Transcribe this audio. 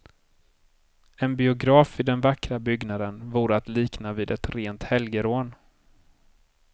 En biograf i den vackra byggnaden vore att likna vid ett rent helgerån.